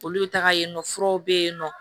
Olu bɛ taga yen nɔ furaw bɛ yen nɔ